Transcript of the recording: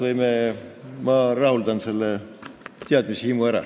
Pärast ma rahuldan selle teadmishimu ära.